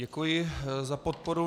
Děkuji za podporu.